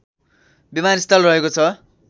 विमानस्थल रहेको छ